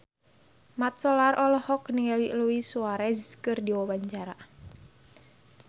Mat Solar olohok ningali Luis Suarez keur diwawancara